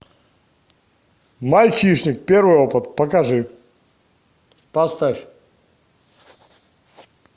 мальчишник первый опыт покажи поставь